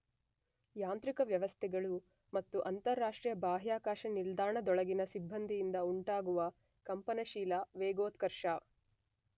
ಯಾಂತ್ರಿಕ ವ್ಯವಸ್ಥೆಗಳು ಮತ್ತು ಅಂತರರಾಷ್ಟ್ರೀಯ ಬಾಹ್ಯಾಕಾಶ ನಿಲ್ದಾಣದ ನೊಳಗಿನ ಸಿಬ್ಬಂದಿಯಿಂದ ಉಂಟಾಗುವ ಕಂಪನಶೀಲ ವೇಗೋತ್ಕರ್ಷ.